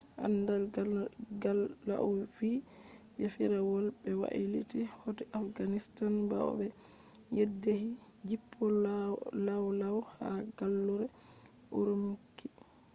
anda gal lau vi je firawol be wailiti hoti afghanistan bawo be yeddhi jippol lawlaw ha gallure urumqi